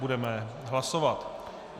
Budeme hlasovat.